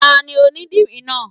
Tani onidìrí náà?